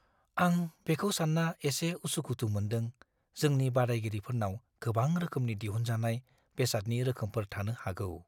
आं बेखौ सानना एसे उसु-खुथु मोनदों जोंनि बादायगिरिफोरनाव गोबां रोखोमनि दिहुनजानाय बेसादनि रोखोमफोर थानो हागौ।